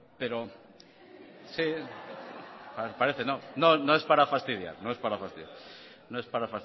no es para fastidiar